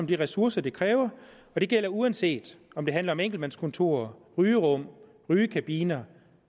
de ressourcer det kræver og det gælder uanset om det handler om enkeltmandskontorer rygerum rygekabiner